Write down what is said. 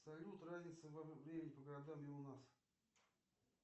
салют разница во времени по городам и у нас